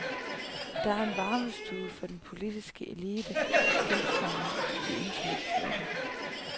Der er en varmestue for den politiske elite, kunstnerne, de intellektuelle.